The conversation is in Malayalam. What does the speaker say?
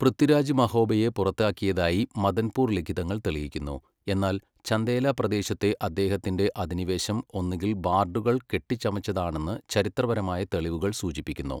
പൃഥ്വിരാജ് മഹോബയെ പുറത്താക്കിയതായി മദൻപൂർ ലിഖിതങ്ങൾ തെളിയിക്കുന്നു, എന്നാൽ ചന്ദേല പ്രദേശത്തെ അദ്ദേഹത്തിന്റെ അധിനിവേശം ഒന്നുകിൽ ബാർഡുകൾ കെട്ടിച്ചമച്ചതാണെന്ന് ചരിത്രപരമായ തെളിവുകൾ സൂചിപ്പിക്കുന്നു.